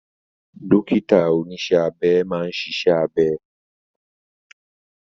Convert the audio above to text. Dókítà oníṣẹ́ abẹ máa ń ṣiṣẹ́ abẹ